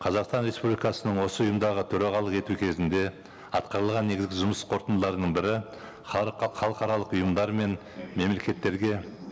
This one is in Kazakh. қазақстан республикасының осы ұйымдағы төрағалық ету кезінде атқарылған негізгі жұмыс қорытындыларының бірі халыққа халықаралық ұйымдар мен мемлекеттерге